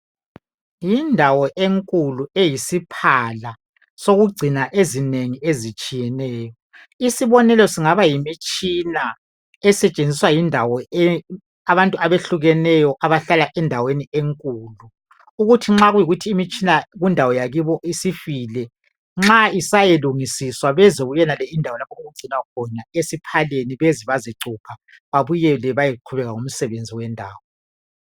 yindawo enkulu eyisiphala sokugcina ezinengi ezitshiyeneyo isibonelo singaba yimitshina esetshenziswa yindawo abantu abehlukeneyo abahlala endaweni enkulu ukuthi nxa kuyikuthi imitshina kundawo akibo isifile nxa isayolungisiswa beze kuyonale indawo lapho okugcinwa khona esiphaleni beze bazecupha babuyele bayeqhubeka ngomsebenzi wendawo